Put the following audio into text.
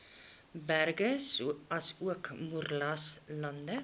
berge asook moeraslande